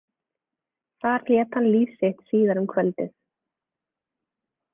Þar lét hann líf sitt síðar um kvöldið.